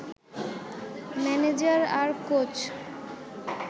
manager আর coach